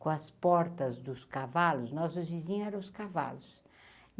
Com as portas dos cavalos, nossos vizinhos eram os cavalos.